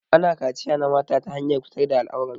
Ana kachiya na mata ta hanyar fitar da al'aurar su.